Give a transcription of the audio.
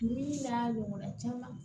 Ni min n'a ɲɔgɔnna caman